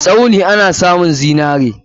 Tsauni ana amun zinare.